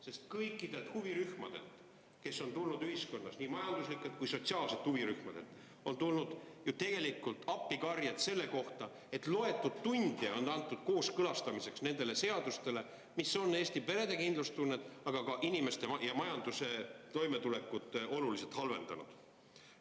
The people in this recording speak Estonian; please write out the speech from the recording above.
Sest kõikidelt ühiskonna huvirühmadelt, nii majanduslikelt kui ka sotsiaalsetelt, on tulnud ju tegelikult appikarjed selle kohta, et neile on antud aega ainult loetud tunnid, et kooskõlastada neid seadusi, mis on Eesti perede kindlustunnet, aga ka inimeste ja majanduse toimetulekut oluliselt halvendanud.